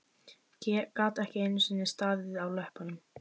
Gat ekki einu sinni staðið á löppunum!